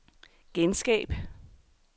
genskab